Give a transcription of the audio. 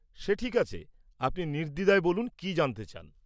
সে ঠিক আছে, আপনি নির্দ্বিধায় বলুন কি জানতে চান?